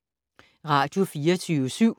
Radio24syv